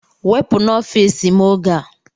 Wepụ n'ọfịs m oge a!